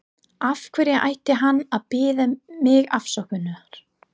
Af hverju ætti hann að biðja mig afsökunar?